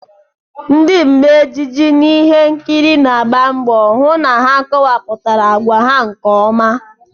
Ndị mmee ejije n'ihe nkiri na-agba mbọ hụ na ha kowapụtara agwa ha nke ọma